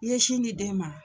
I ye sin di den ma?